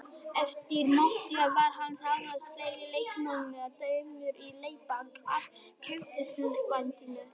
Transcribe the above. Eftir mótið var hann ásamt fleiri leikmönnum dæmdur í leikbann af knattspyrnusambandinu.